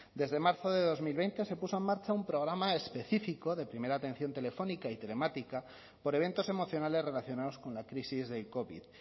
desde marzo de dos mil veinte se puso en marcha un programa específico de primera atención telefónica y telemática por eventos emocionales relacionados con la crisis del covid